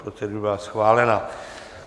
Procedura je schválena.